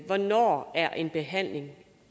hvornår er en behandling